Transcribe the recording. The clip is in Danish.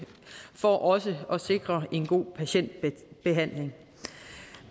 for også at sikre en god patientbehandling